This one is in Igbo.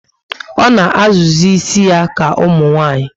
O na azụ zi ísì ya ka umunwanyi